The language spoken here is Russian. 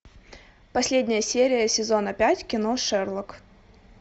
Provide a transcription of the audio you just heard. последняя серия сезона пять кино шерлок